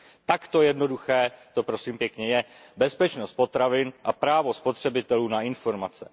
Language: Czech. Takto jednoduché to prosím pěkně je, bezpečnost potravin a právo spotřebitelů na informace.